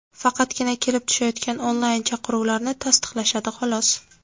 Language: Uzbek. Faqatgina kelib tushayotgan onlayn-chaqiruvlarni tasdiqlashadi, xolos.